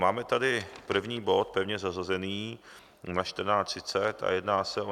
Máme tady první bod pevně zařazený na 14.30 a jedná se o